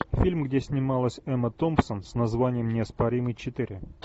фильм где снималась эмма томпсон с названием неоспоримый четыре